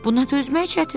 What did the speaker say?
Buna dözmək çətindir.